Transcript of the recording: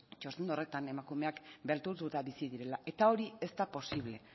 txosten horretan emakumeak beldurtuta bizi direla eta hori ez da posible